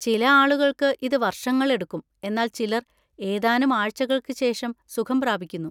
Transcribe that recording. ചില ആളുകൾക്ക് ഇത് വർഷങ്ങളെടുക്കും, എന്നാൽ ചിലർ ഏതാനും ആഴ്ചകൾക്ക് ശേഷം സുഖം പ്രാപിക്കുന്നു.